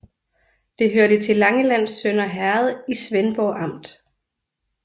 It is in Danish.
Det hørte til Langelands Sønder Herred i Svendborg Amt